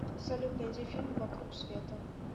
салют найди фильм вокруг света